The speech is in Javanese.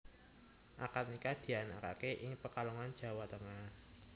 Akad nikah dianakaké ing Pekalongan Jawa Tengah